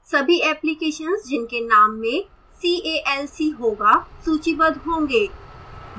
सभी applications जिनके name में c a l c होगा सूचीबद्ध होंगे